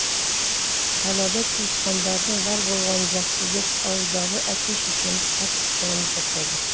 қалада туысқандарың бар болғаны жақсы деп ауылдағы әке шешеміз қатты куанып жатады